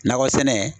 Nakɔ sɛnɛ